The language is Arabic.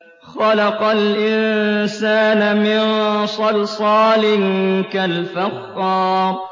خَلَقَ الْإِنسَانَ مِن صَلْصَالٍ كَالْفَخَّارِ